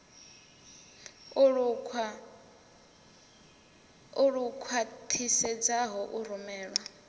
lu khwa ṱhisedzaho u rumelwa